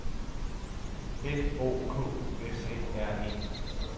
F O K U S E R E